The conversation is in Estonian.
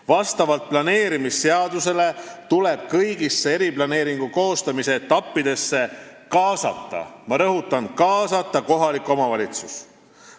Vastavalt planeerimisseadusele tuleb kõigisse eriplaneeringu koostamise etappidesse kaasata – ma rõhutan, et kaasata – kohalik omavalitsus.